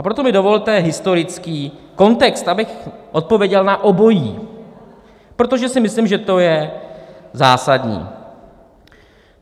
A proto mi dovolte historický kontext, abych odpověděl na obojí, protože si myslím, že to je zásadní.